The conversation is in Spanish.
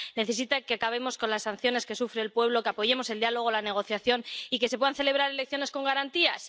necesita que acabemos con las sanciones que sufre el pueblo, que apoyemos el diálogo, la negociación y que se puedan celebrar elecciones con garantías.